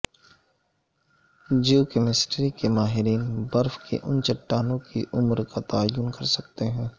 Jio chemistry کے ماہرین برف کی ان چٹانوں کی عمر کا تعین کر سکتے ہیں